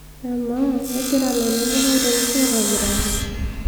amaa kegira ilairemok airemisho aitobiraki